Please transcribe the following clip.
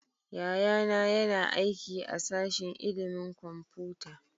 Yayana yana aiki a sashin ilimin kwamfuta